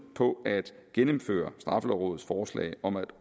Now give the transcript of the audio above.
på at gennemføre straffelovrådets forslag om at